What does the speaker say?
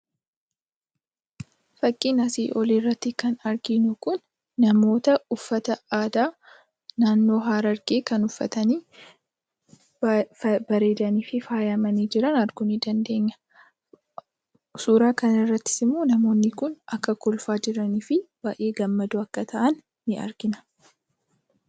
Fakkiin asii olii irratti kan arginu kun namoota uffata aadaa naannoo Harargee kan uffatani. Baay'ee kan bareedanii fi faayamanii jiran arguu ni dandeenya. Suuraa kanarrattis immoo namoonni kun akka kolfaa jiranii fi baay'ee gammadoo akka ta'an ni argina.